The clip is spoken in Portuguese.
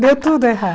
Deu tudo errado.